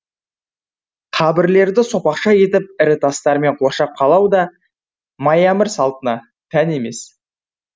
қабірлерді сопақша етіп ірі тастармен қоршап қалау да майәмір салтына тән емес